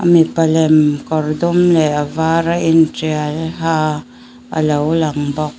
mipa lem kawr dum leh a var a intial ha a lo lang bawk.